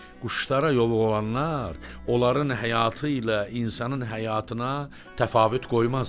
Quşlara yovuq olanlar onların həyatı ilə insanın həyatına təfavüt qoymaz.